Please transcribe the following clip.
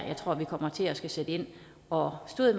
jeg tror vi kommer til at skulle sætte ind og stod